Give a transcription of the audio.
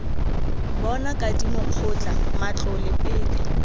bona kadimo kgotla matlole pele